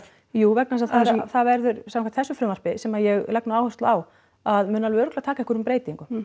jú vegna þess að það verður samkvæmt þessu frumvarpi sem ég legg nú áherslu á að mun nú örugglega taka einhverjum breytingum